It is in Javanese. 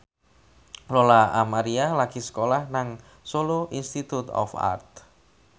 Lola Amaria lagi sekolah nang Solo Institute of Art